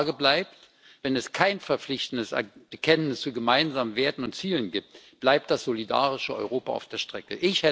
Die Frage bleibt Wenn es kein verpflichtendes Bekenntnis zu gemeinsamen Werten und Zielen gibt, bleibt das solidarische Europa auf der Strecke.